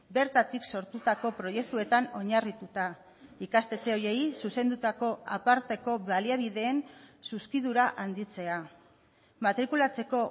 bertatik sortutako proiektuetan oinarrituta ikastetxe horiei zuzendutako aparteko baliabideen zuzkidura handitzea matrikulatzeko